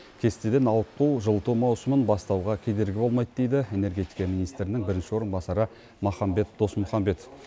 кестеден ауытқу жылыту маусымын бастауға кедергі болмайды дейді энергетика министрінің бірінші орынбасары махамбет досмұхамбетов